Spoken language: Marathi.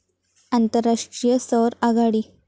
आंतरराष्ट्रीय सौर आघाडी